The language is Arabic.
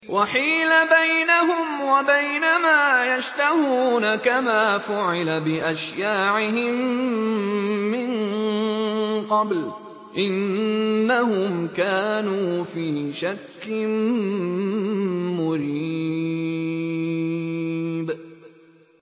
وَحِيلَ بَيْنَهُمْ وَبَيْنَ مَا يَشْتَهُونَ كَمَا فُعِلَ بِأَشْيَاعِهِم مِّن قَبْلُ ۚ إِنَّهُمْ كَانُوا فِي شَكٍّ مُّرِيبٍ